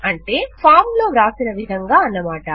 అంటే ఫాం లో వ్రాసిన విధంగా అన్నమాట